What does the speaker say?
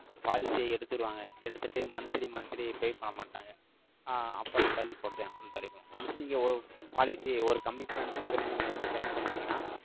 policy ய எடுத்துருவாங்க. எடுத்துட்டு, monthly monthly pay பண்ண மாட்டாங்க. ஆஹ் அப்புறம் தள்ளி போடுதேன், உம் தள்ளி போ~ Once நீங்க ஒரு policy, ஒரு commitment ன்னு சொல்லி, நீங்க வந்து send பண்ணிட்டீங்கன்னா,